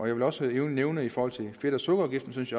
jeg vil også nævne at jeg i forhold til fedt og sukkerafgiften synes